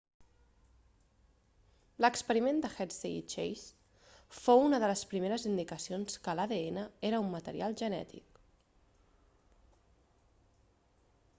l'experiment de hershey i chase fou una de les primeres indicacions que l'adn era un material genètic